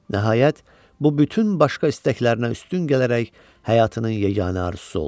Nəhayət, bu bütün başqa istəklərinə üstün gələrək həyatının yeganə arzusu oldu.